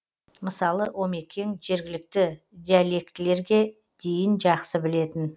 мысалы омекең жергілікті диалектілерге дейін жақсы білетін